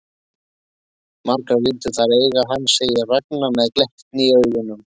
Margar vildu þær eiga hann, segir Ragna með glettni í augunum.